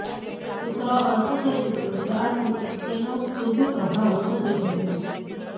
શુક્ર અસ્ત થઈ ચુક્યો છે આથી તેનો શુભ પ્રભાવ ઓછો થઈ જશે